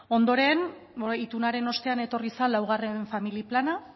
ondoren itunaren ostean etorri zen laugarren familia plana